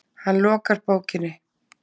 Hann lokar bókinni.